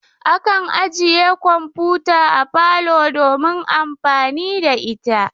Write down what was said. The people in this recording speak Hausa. Akan ajiye kamfuta a parlor domin amfani da ita.